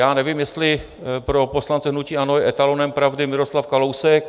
Já nevím, jestli pro poslance hnutí ANO je etalonem pravdy Miroslav Kalousek.